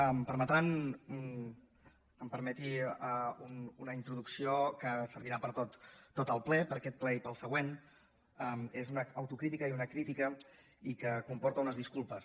em permetran que em permeti una introducció que servirà per a tot el ple per a aquest ple i per al següent és una autocrítica i una crítica i comporta unes disculpes